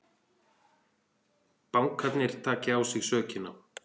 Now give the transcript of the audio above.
Bankarnir taki á sig sökina